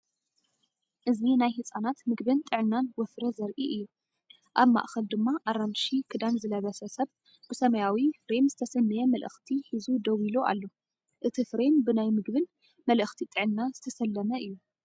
እዚ ናይ ህጻናት መግብን ጥዕናን ወፍሪ ዘርኢ እዩ፤ ኣብ ማእከል ድማ ኣራንሺ ክዳን ዝለበሰ ሰብ ብሰማያዊ ፍሬም ዝተሰነየ መልእኽቲ ሒዙ ደው ኢሉ ኣሎ። እቲ ፍሬም ብናይ ምግብን መልእኽቲ ጥዕናን ዝተሰለመ እዩ።